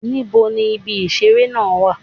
Níbo ni ibi ìṣeré náà wà?